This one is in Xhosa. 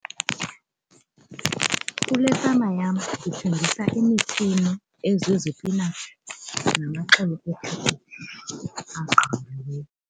Kule fama yam ndithengisa imifino ezizipinatshi .